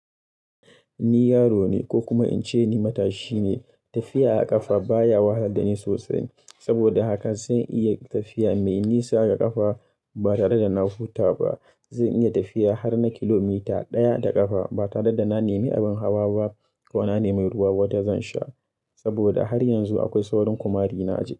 Ni yaro ne ko kuma in ce ni matashi ne, tafiya a ƙafa ba ya wahalad da ni sosai. Saboda haka zan iya tafiya mai nisa ga ƙafa ba tare da na huta ba. Zan iya tafiya har na kilomita ɗaya da ƙafa ba tare da na nemi abin hawa ba ko na nemi ruwa wadda zan sha. Saboda har yanzu akwai saurin ƙumarina a jiki.